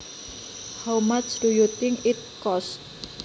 How much do you think it costs